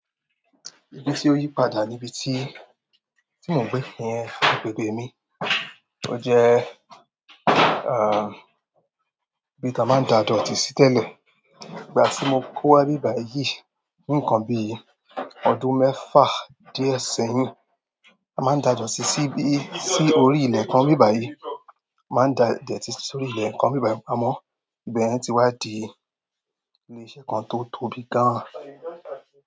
Ibi tí o yípadà nibiti tí mo ń gbé èyen agbègbè mi. Ò jẹ, ah, ibi tí a máa ń da'dọti sitẹlẹ. Ìgbà tí mò kò wá ibi báyìí, erú ńkán bí ọdún mẹ́fà sẹ́yìn. A máa ń da'dọti sí ibi, sí orí ilẹ̀ kan bibayi. A máa ń da'dọti sí orí ilẹ̀ kan bibayi. Àmọ́ ibẹ yẹn ti wá di ilé iṣẹ́ kan tí ó tóbi gaan.